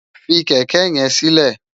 Fi kèkè yèn silè